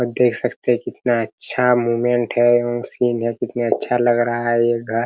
आप देख सकते है कितना अच्छा मोमेंट है सीन है कितना अच्छा लग घर रहा है ये घर।